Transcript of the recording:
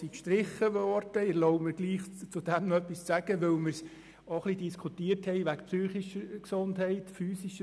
Ich erlaube mir, dazu noch etwas zu sagen, denn wir haben auch ein wenig über die psychische und physische Gesundheit diskutiert.